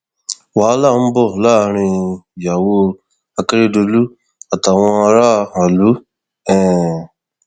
wàhálà ń bọ láàrin ìyàwó akérèdọlù àtàwọn aráàlú um